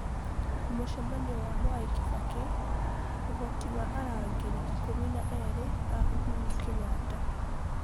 mũcemanio wa Mwai kibaki: ũhoti wa arangĩri ikũmi na erĩ a uhuru Kenyatta